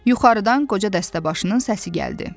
Yuxarıdan qoca dəstəbaşının səsi gəldi.